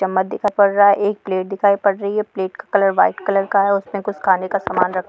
चम्मच दिखाई पड़ रहा है एक प्लेट दिखाई पड़ रही है प्लेट का कलर व्हाइट कलर का है और उसमें कुछ खाने का सामान रखा--